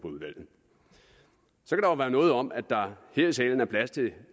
være noget om at der her i salen er plads til